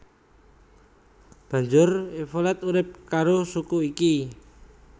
Banjur Evolet urip karo suku iki